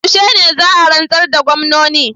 Yaushe za a rantsar da gwamnoni?